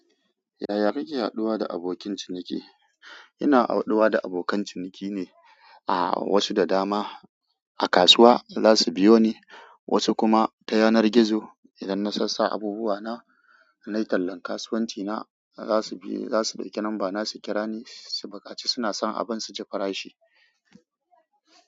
Yaya kake haduwa da abokin ciniki? Ina haduwa da abokan ciniki ne, wasu da dama a kasuwa za su biyo ni, wasu kuma ta yanar gizo. Idan na sassa abubuwa na, na yi tallan kasuwanci na, za su ɗauki lambana su kira ni. Su bukaci suna son abin su ji farashi.